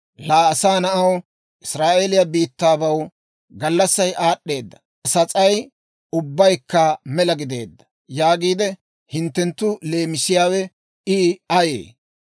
«Laa asaa na'aw, Israa'eeliyaa biittabaw, ‹Gallassay aad'd'eeda; sas'ay ubbaykka mela gideeda› yaagiide hinttenttu leemisiyaawe I ayee?